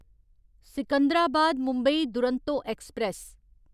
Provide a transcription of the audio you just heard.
Secunderabad Mumbai Duronto express